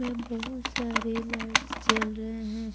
वे बहुत सारे लाइट्स जल रहे हैं।